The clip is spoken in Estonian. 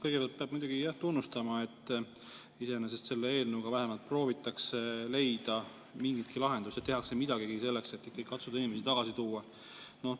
Kõigepealt peab muidugi tunnustama, et selle eelnõuga vähemalt proovitakse leida mingeidki lahendusi, tehakse midagi selleks, et katsuda inimesi tagasi tuua.